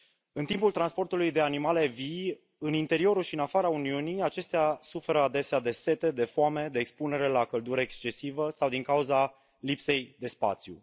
În timpul transportului de animale vii, în interiorul și în afara Uniunii, acestea suferă adesea de sete, de foame, de expunere la căldură excesivă sau din cauza lipsei de spațiu.